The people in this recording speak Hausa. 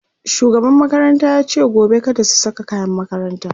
shugaban makaranta yace gobe kada su Saka kayan makaranta